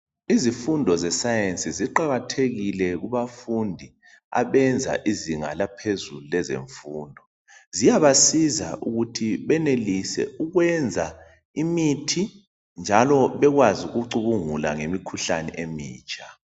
Izifundo zeSayensi ziqakathekile kubafundi abenza izinga laphezulu lezemfundo ziyabasiza ukuthi benelise ukwenza imithi njalo bekwazi ukucubungula ngemikhuhlane emitsha.